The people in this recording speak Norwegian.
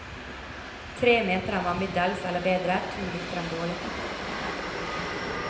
Tre mente den var middels eller bedre, to likte den dårlig.